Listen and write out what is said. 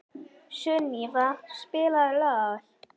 Sunníva, spilaðu lag.